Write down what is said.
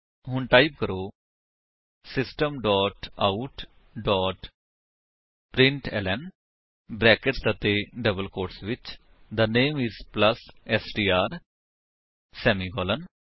ਹੁਣ ਟਾਈਪ ਕਰੋ system dot out dot println brackets ਅਤੇ ਡਬਲ ਕੋਟਸ ਵਿੱਚ the name is plus STR semicolon